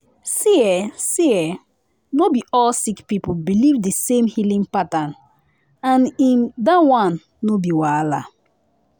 see[um]see[um]no be all sick people believe the same healing pattern — and em that one no be wahala.